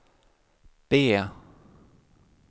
B